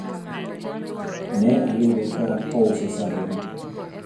ne ayude ka ouso sende na